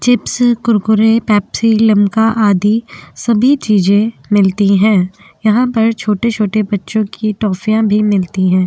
Chips Kurkure Pepsi Limca आदि सभी चीजे मिलती हैं। यहाँ पर छोटे-छोटे बच्चों की टोफियां भी मिलते हैं।